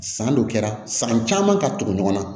San dɔ kɛra san caman ka tugu ɲɔgɔn na